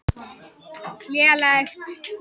Elína, hvernig er veðrið úti?